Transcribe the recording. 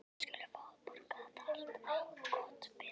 Þið skuluð fá að borga þetta allt. og gott betur!